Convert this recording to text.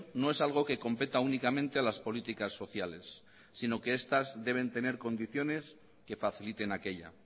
no es algo que competa únicamente a las políticas sociales sino que estas deben tener condiciones que faciliten aquella